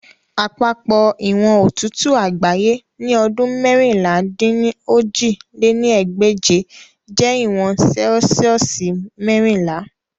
Apapọ iwọn otutu agbaye ni ọdun meérinlá-dín-ní-ojì lé ní ẹgbẹ́je jẹ iwọn Celsiosi merinla.